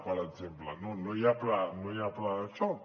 per exemple no hi ha pla no hi ha pla de xoc